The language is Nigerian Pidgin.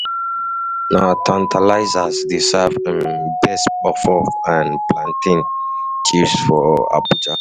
Na Tantalizers dey serve um best puff-puff and plantain chips for Abuja. um